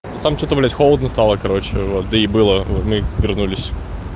там что-то блядь холодно стало короче вот и было мы вернулись